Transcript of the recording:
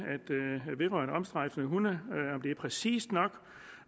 vedrørende omstrejfende hunde er præcist nok